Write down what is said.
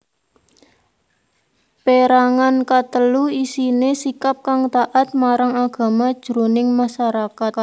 Pérangan katelu isiné sikap kang taat marang agama jroning masarakat